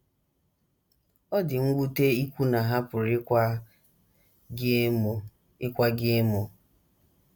Ọ dị mwute ikwu na ha pụrụ ịkwa gị emo ịkwa gị emo.